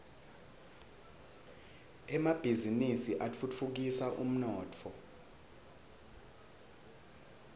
emabhizini atfutfukisa umnotfo